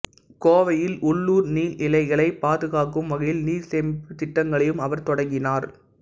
கோவையில் உள்ளுர் நீர்நிலைகளைப் பாதுகாக்கும் வகையில் நீர் சேமிப்புத் திட்டங்களையும் அவர் தொடங்கினார்